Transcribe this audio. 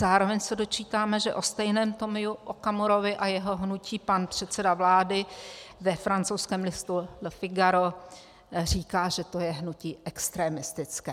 Zároveň se dočítáme, že o stejném Tomiu Okamurovi a jeho hnutí pan předseda vlády ve francouzském listu Le Figaro říká, že to je hnutí extremistické.